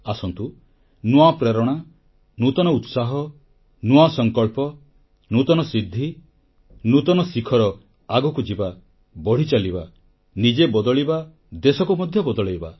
ଆସନ୍ତୁ ନୂଆ ପ୍ରେରଣା ନୂତନ ଉତ୍ସାହ ନୂଆ ସଂକଳ୍ପ ନୂତନ ସିଦ୍ଧି ନୂତନ ଶିଖର ଆଗକୁ ଯିବା ବଢ଼ିଚାଲିବା ନିଜେ ବଦଳିବା ଦେଶକୁ ମଧ୍ୟ ବଦଳାଇବା